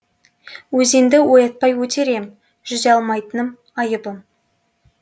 өзенді оятпай өтер ем жүзе алмайтыным айыбым